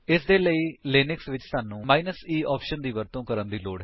ਇਸਦੇ ਲਈ ਲਿਨਕਸ ਵਿੱਚ ਸਾਨੂੰ e ਆਪਸ਼ਨ ਦੀ ਵਰਤੋਂ ਕਰਨ ਦੀ ਲੋੜ ਹੈ